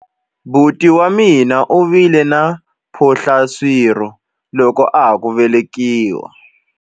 Buti wa mina u vile na mphohlaswirho loko a ha ku velekiwa.